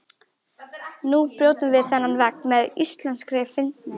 Nú brjótum við þennan vegg með íslenskri fyndni.